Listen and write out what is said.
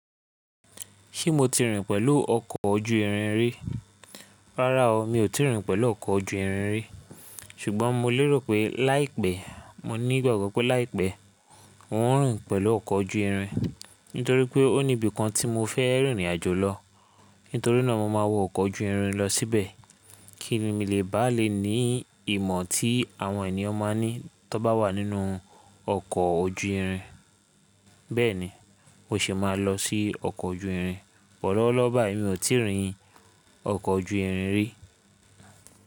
Ṣé mo ti rìn pẹ̀lú ọkọ̀ ojú irin rí? Rárá o, mi ò tí ì rìn pẹ̀lú ọkọ̀ ojú irin rí. Ṣùgbọ́n mo lérò pé láìpẹ́, mo ní ìgbàgbọ́ pé láìpẹ́ n ó ń rìn pẹ̀lú ọkọ̀ ojú irin. Nítorí pé ó níbi kan tí mo fẹ́ rìn ìrìnàjò lọ. Nítorí náà mo máa wọ ọkọ̀ ojú irin lọ síbẹ̀. Kíni mi lè bá le ní ìmọ̀ tí àwọn ènìyàn máa ní tó bá wà nínú ọkọ̀ ojú irin. Bẹ́ẹ̀ni, mo sì máa lọ sí ọkọ̀ ojú irin. Bo lówó lówó báyi mi ò tí rìn ọkọ̀ ojú irin rí.